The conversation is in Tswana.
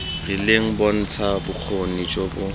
rileng bontsha bokgoni jo bo